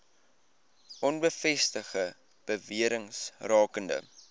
onbevestigde bewerings rakende